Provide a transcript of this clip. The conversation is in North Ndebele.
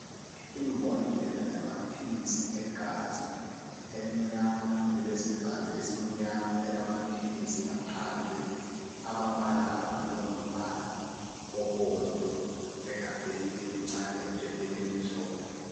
Imbodlela yamaphilizi egazi emnyama elesivalo esimnyama elamaphilisi ngaphandle, amabala abhalwe ngombala obomvu egabheni elincane ephepheni elimhlophe.